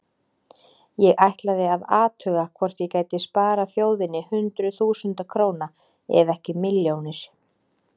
Ég ætlaði að athuga hvort ég gæti sparað þjóðinni hundruð þúsunda króna ef ekki milljónir.